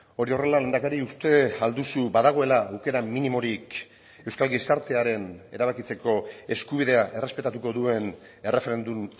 hori horrela lehendakari uste ahal duzu badagoela aukera minimorik euskal gizartearen erabakitzeko eskubidea errespetatuko duen erreferendum